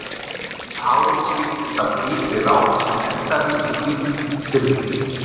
Svart hárið skiptist af hvítri rák sem endaði í hvítum hvirfli.